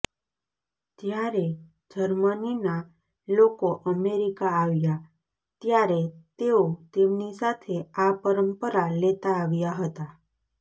જ્યારે જર્મનીના લોકો અમેરિકા આવ્યાં ત્યારે તેઓ તેમની સાથે આ પરંપરા લેતા આવ્યાં હતા